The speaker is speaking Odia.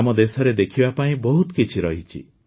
ଆମ ଦେଶରେ ଦେଖିବା ପାଇଁ ବହୁତ କିଛି ରହିଛି